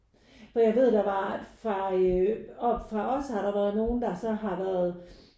For jeg ved der var fra øh oppe fra os har der været nogen der så har været